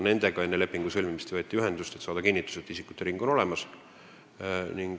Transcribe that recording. Enne lepingu sõlmimist võeti nendega ühendust, saamaks kinnitust, et isikute ring on olemas.